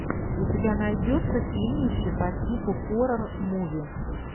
у тебя найдется фильмище по типу хоррор муви